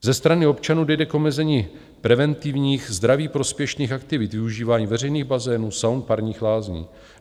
Ze strany občanů dojde k omezení preventivních zdraví prospěšných aktivit, využívání veřejných bazénů, saun, parních lázní.